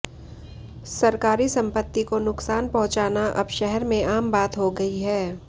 सरकारी संपति को नुकसान पहुंचाना अब शहर में आम बात हो गई है